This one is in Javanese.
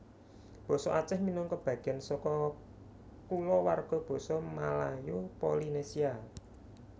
Basa Aceh minangka bagéan saka kulawarga Basa Malayo Polinesia